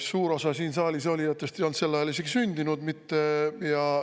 Suur osa siin saalis olijatest ei olnud sel ajal isegi sündinud mitte.